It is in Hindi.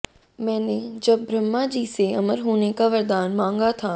मैनें जब ब्रह्मा जी से अमर होने का वरादान मांगा था